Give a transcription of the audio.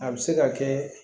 A bɛ se ka kɛ